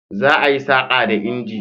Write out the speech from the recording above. Za a yi saƙa da inji.